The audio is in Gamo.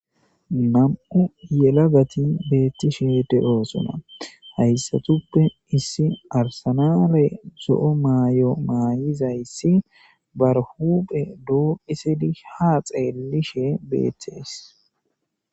nam7u yelagati beettishede oosona hayssatuppe issi arsanare zo7o maayo maayizayssi barhuphe doophisidi ha xeellishe beethees